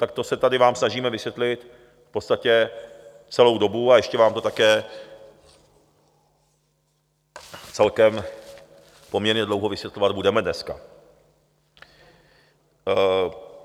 Tak to se vám tady snažíme vysvětlit v podstatě celou dobu a ještě vám to také celkem poměrně dlouho vysvětlovat budeme dneska.